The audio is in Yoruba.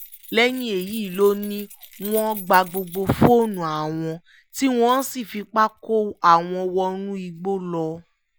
lẹ́yìn èyí ló ní wọ́n gba gbogbo fóònù àwọn tí wọ́n sì fipá kó àwọn wọnú igbó lọ